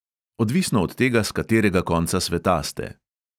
Odvisno od tega, s katerega konca sveta ste.